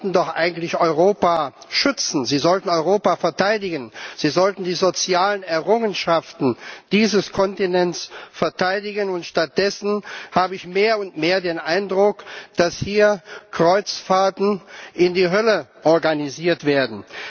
Sie sollten doch eigentlich Europa schützen, Sie sollten Europa verteidigen, Sie sollten die sozialen Errungenschaften dieses Kontinents verteidigen. Stattdessen habe ich mehr und mehr den Eindruck, dass hier Kreuzfahrten in die Hölle organisiert werden.